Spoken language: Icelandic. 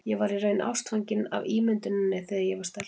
Ég var í raun ástfangin af ímynduninni þegar ég var stelpa.